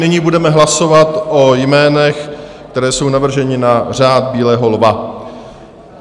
Nyní budeme hlasovat o jménech, která jsou navržena na Řád bílého lva.